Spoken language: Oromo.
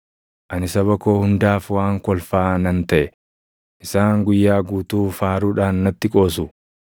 Ani saba koo hundaaf waan kolfaa nan taʼe; isaan guyyaa guutuu faaruudhaan natti qoosu.